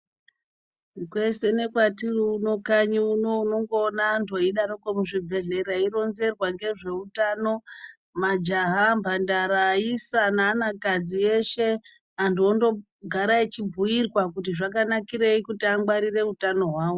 Kwese nekwatiri uno kanyi uno unongoona antu eyidarokwo muzvibhedhlera eyironzerwa ngezveutano majaha mbandara ayisa neanakadzi eshe. Antu ondogara echibhuyirwa kuti zvakanakirei kuti angwarire utano hwawo.